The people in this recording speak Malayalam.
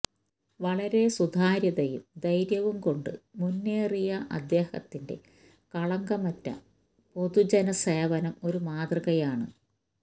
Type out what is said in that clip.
വളരെ സുതാര്യതയും ധൈര്യവുംകൊണ്ട് മുന്നേറിയ അദ്ദേഹത്തിന്റെ കളങ്കമറ്റ പൊതുജനസേവനം ഒരു മാതൃകയാണ്